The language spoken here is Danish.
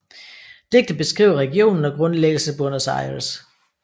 Digtet beskriver regionen og grundlæggelsen af Buenos Aires